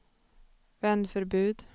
vändförbud